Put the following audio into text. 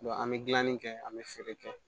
an bɛ gilanni kɛ an bɛ feere kɛ